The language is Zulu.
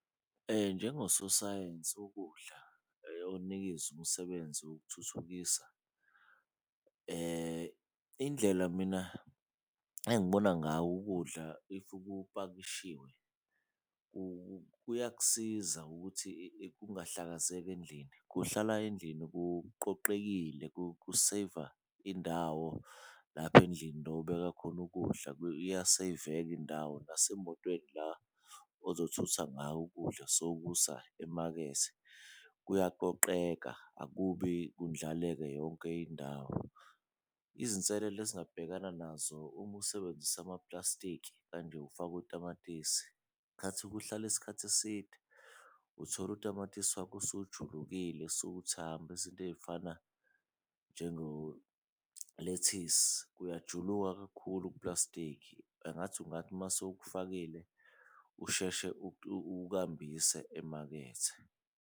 Njengososayensi wokudla umsebenzi wokuthuthukisa, indlela mina engibona ngawo ukudla if kupakishiwe kuyakusiza ukuthi kungahlazeki endlini, kuhlala endlini kuqoqekile kuseyiva indawo lapha endlini la obeka khona ukudla. Iyaseyiveka indawo nasemotweni la ozothutha ngayo ukudla sowukusa emakethe, kuyaqoqeka akubi kundlaleke yonke indawo, izinselele ezingabhekana nazo uma usebenzisa amaplastiki kanje ufake utamatisi. Khathi kuhlala isikhathi eside uthola utamatisi wakho usujulukile sewuthamba, izinto eyifana njengo lethisi uyajuluka kakhulu kuplastiki angathi mase ukufakile usheshe ukambise emakethe.